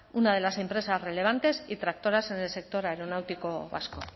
una de las empresas relevantes y tractoras en el sector aeronáutico vasco